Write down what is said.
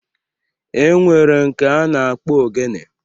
E nwere nke a na-akpọ Ogene